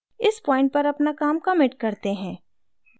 इस point पर अपना काम commit करते हैं